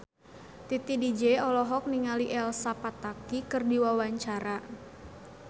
Titi DJ olohok ningali Elsa Pataky keur diwawancara